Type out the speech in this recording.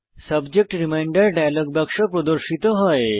subject reminder dialog বাক্স প্রদর্শিত হয়